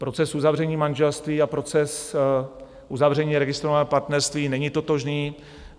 Proces uzavření manželství a proces uzavření registrovaného partnerství není totožný.